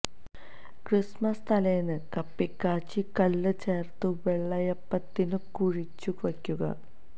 Christmas തലേന്ന് കപ്പി കാച്ചി കള്ള് ചേർത്തു വെള്ളയപ്പത്തിനു കുഴച്ചു വെയ്ക്കും